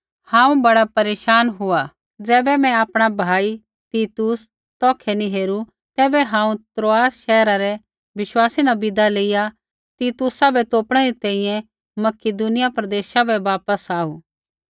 हांऊँ बड़ा परेशान हुआ ज़ैबै मैं आपणा भाई तीतुस तौखै नी हेरू तैबै हांऊँ त्रोआस शैहरा रै विश्वासी न विदा लेइया तीतुसा बै तोपणै री तैंईंयैं मकिदुनिया प्रदेशा बै वापस आऊ